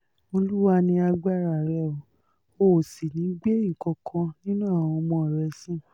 olúwa ni agbára rẹ o ò sì ní gbé ìkankan nínú àwọn ọmọ rẹ sìn